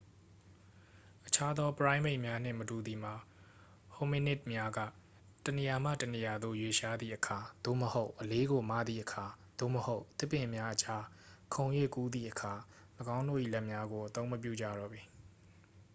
အခြားသော ပရိုင်းမိတ်များနှင့်မတူသည်မှာ hominid များက တစ်နေရာမှ တစ်နေရာသို့ ရွေ့လျားသည့်အခါ သို့မဟုတ် အလေးကို မသည့်အခါ သို့မဟုတ် သစ်ပင်များအကြား ခုန်၍ကူးသည့်အခါ ၎င်းတို့၏ လက်များကို အသုံးမပြုကြတော့ပေ